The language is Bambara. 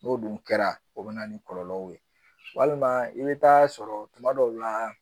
N'o dun kɛra o bɛ na ni kɔlɔlɔw ye walima i bɛ taa sɔrɔ tuma dɔw la